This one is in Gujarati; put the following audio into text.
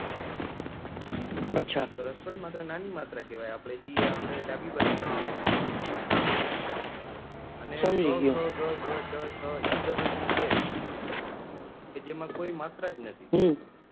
રસ્વાઈ ની માત્ર નાની માત્ર કેવાય આપડે જે આપડે ડાભી બાજુ લખાય અને ક, ખ, ગ, ઘ, ચ, છ, એ બધું જે છે એ કે જેમાં કોઈ માત્ર જ નથી